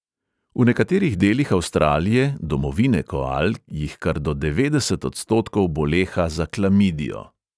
V nekaterih delih avstralije, domovine koal, jih kar do devetdeset odstotkov boleha za klamidijo.